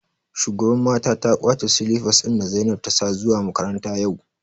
shugaban mata ta kwace silipas ɗin da zainab ta sa zuwa makaranta yau